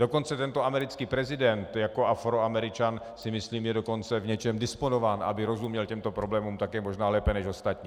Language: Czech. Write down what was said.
Dokonce tento americký prezident jako Afroameričan, si myslím, je dokonce v něčem disponován, aby rozuměl těmto problémům také možná lépe než ostatní.